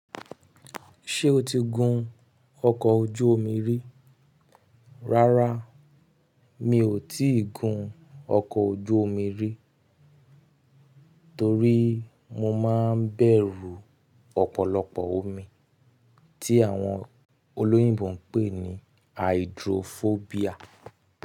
Ṣé o ti gun ọkọ̀ ojú omi rí? Rárá, mi ò tíì gun ọkọ̀ ojú omi rí torí mo máa ń bẹ̀rù ọ̀pọ̀lọpọ̀ omi tí àwọn olóyìnbo ń pè ní Hydrophobia.